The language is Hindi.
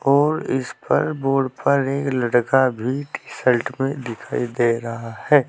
और इस पर बोर्ड पर एक लड़का भी टी_शर्ट में दिखाई दे रहा है।